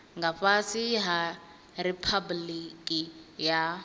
nga fhasi ha riphabuliki ya